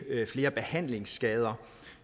flere behandlingsskader